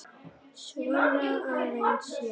Svona aðeins, já.